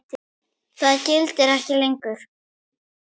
Það gildir ekki lengur.